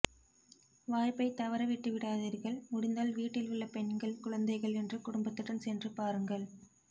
வாய்ப்பை தவறவிட்டுவிடாதீர்கள் முடிந்தால் வீட்டில் உள்ள பெண்கள் குழந்தைகள் என்று குடும்பத்துடன் சென்று பாருங்கள்